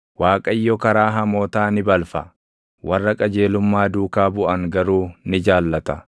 Waaqayyo karaa hamootaa ni balfa; warra qajeelummaa duukaa buʼan garuu ni jaallata.